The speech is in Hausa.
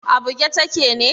A buge take ne?